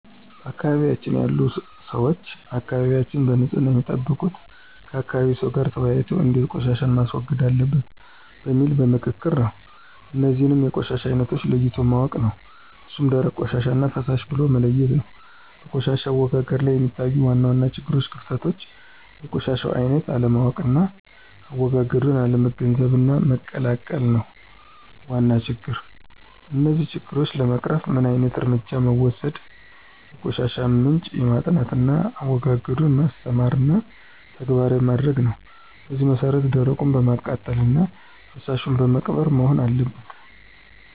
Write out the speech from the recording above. በአካባቢያችን ያሉ ሰዎች አካባቢያቸዉን በንፅህና የሚጠብቁት ከአካባቢ ሰው ጋር ተወያይተው እንዴት ቆሻሻን ማስወገድ አለበት በሚል በምክክር ነው። እነዚህንም የቆሻሻውን አይነት ለይቶ ማወቅ ነው እሱም ደረቅ ቆሻሻና ፈሳሽ ብሎ መለየት ነው። በቆሻሻ አወጋገድ ላይ የሚታዩ ዋና ዋና ችግሮችና ክፍተቶች የቆሻሻውን አይነት አለማወቅና አዎጋገዱን አለመገንዘብና መቀላቀል ነው ዋና ችግር። እነዚህን ችግሮች ለመቅረፍ ምን ዓይነት እርምጃ መወሰድ የቆሻሻውን ምንጭ ማጥናትና አዎጋገዱን ማስተማርና ተግባራዊ ማድረግ ነው በዚህ መሰረት ደረቁን በማቃጠልና ፈሳሹን በመቅበር መሆን አለበት።